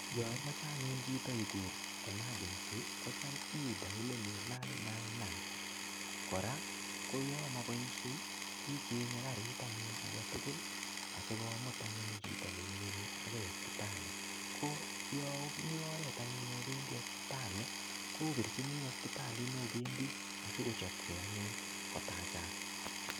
Yo imoche anyun chito igur emegerncy kocham i diyoleni 999. Kora ko yon moboisie ichenge karit anyun age tugul asikomut anyun chito nemiyoni agouospitali. Ko yo omi oret anyun opendi osiptali koopirchini ospitalit nopendi asigochopke anyun kotachak.